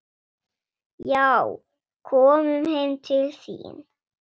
Já, komum heim til þín.